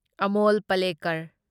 Amol Palekar